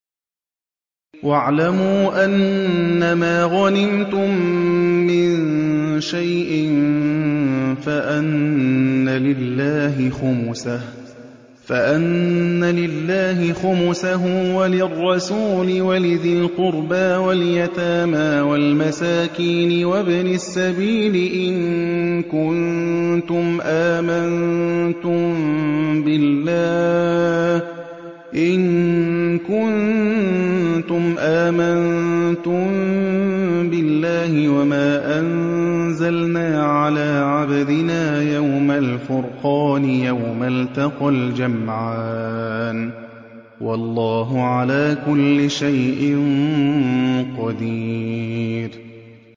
۞ وَاعْلَمُوا أَنَّمَا غَنِمْتُم مِّن شَيْءٍ فَأَنَّ لِلَّهِ خُمُسَهُ وَلِلرَّسُولِ وَلِذِي الْقُرْبَىٰ وَالْيَتَامَىٰ وَالْمَسَاكِينِ وَابْنِ السَّبِيلِ إِن كُنتُمْ آمَنتُم بِاللَّهِ وَمَا أَنزَلْنَا عَلَىٰ عَبْدِنَا يَوْمَ الْفُرْقَانِ يَوْمَ الْتَقَى الْجَمْعَانِ ۗ وَاللَّهُ عَلَىٰ كُلِّ شَيْءٍ قَدِيرٌ